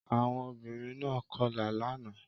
Àwọn obìnrin náà kọlà lánàá